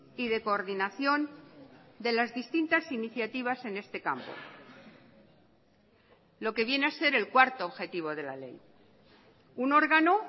y de coordinación de las distintas iniciativas en este campo lo que viene a ser el cuarto objetivo de la ley un órgano